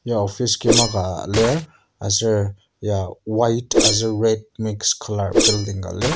ya office kima ka lir aser ya white aser red mix colour building ka lir.